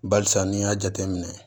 Barisa n'i y'a jateminɛ